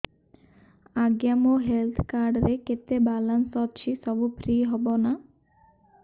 ଆଜ୍ଞା ମୋ health card ରେ କେତେ ବାଲାନ୍ସ ଅଛି ସବୁ ଫ୍ରି ହବ ନାଁ